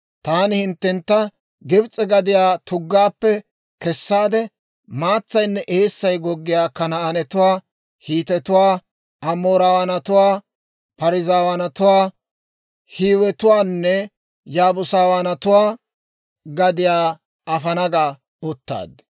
Taani hinttentta Gibs'e gadiyaa tuggaappe kessaade, maatsaynne eessay goggiyaa Kanaanetuwaa, Hiitetuwaa, Amoorawaanatuwaa, Parzzawaanatuwaa, Hiiwetuwaanne Yaabusawaanatuwaa gadiyaa afana ga uttaad.›